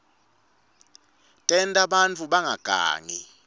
tenta bantfu bangagangi